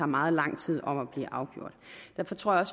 meget lang tid om at blive afgjort derfor tror jeg